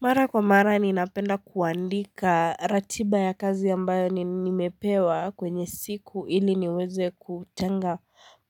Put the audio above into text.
Mara kwa mara ninapenda kuandika ratiba ya kazi ambayo nimepewa kwenye siku ili niweze kutenga